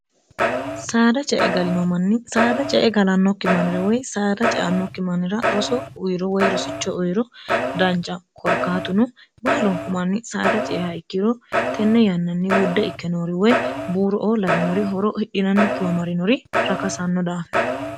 saada cae galino manni saada cee galannokki mannira woy saada ceannokki mannira roso uyiro woy rosicho uyiro danca korkaatuno baalonku manni saada ce e ha ikkiro tenne yannanni wudde ikkenoori woy buuro oo lawiinori horo hidhinannikkiwa marinori rakasanno daafira